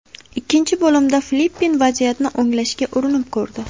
Ikkinchi bo‘limda Filippin vaziyatni o‘nglashga urinib ko‘rdi.